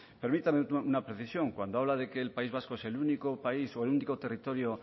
permítame una precisión cuando habla de que el país vasco es el único país o el único territorio